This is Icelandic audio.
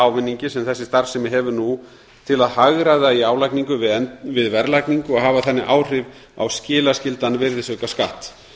ávinningi sem þessi starfsemi hefur nú til að hagræða í álagningu við verðlagningu og hafa þannig áhrif á skilaskyldan virðisaukaskatt